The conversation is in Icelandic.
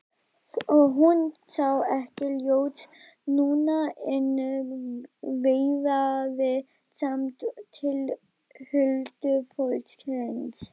Hún sá ekkert ljós núna en veifaði samt til huldufólksins.